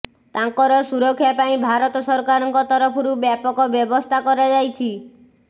ତାଙ୍କର ସୁରକ୍ଷା ପାଇଁ ଭାରତ ସରକାରଙ୍କ ତରଫରୁ ବ୍ୟାପକ ବ୍ୟବସ୍ଥା କରାଯାଇଛି